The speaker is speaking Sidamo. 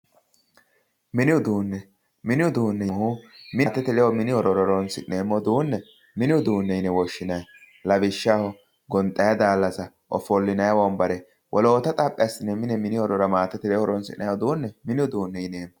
mini uduunne mini uduunnino mitte mine horonnsi'neemmo uduunne mini uduunne yine woshshinanni lawishshaho gonxayi daallassa ofollinayi wombare wolota xaphi assine maatete ledo horonsi'nayiire mine uduunne yine woshshinanni